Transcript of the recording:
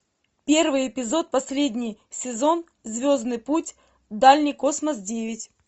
первый эпизод последний сезон звездный путь дальний космос девять